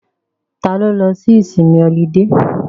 Ta ló lọ sí ìsinmi ọlidé?